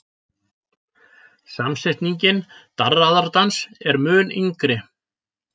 Samsetningin darraðardans er mun yngri.